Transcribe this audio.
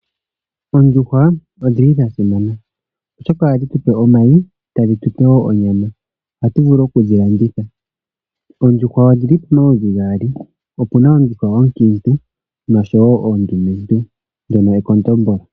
Oondjuhwa odhili dhasimana oshoka ohadhi tupe omayi tadhi tupe wo onyama. Oha tu vulu okudhi landitha. Oondjuhwa odhili pamaludhi gaali, opuna oondjuhwa onkiintu noshowo oondumentu lyono ekondombolo.